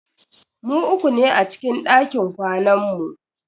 Mu uku ne a cikin dakin kwanan mu.